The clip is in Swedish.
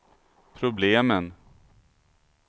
problemen